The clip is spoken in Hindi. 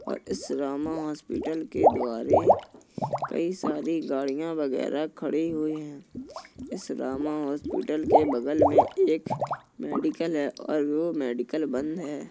और इस रामा हॉस्पिटल के द्वारे कई सारी गाड़िया वगैरा खड़ी हुई है। इस रामा हॉस्पिटल के बगल में एक मेडिकल है और वो मेडिकल बंद है।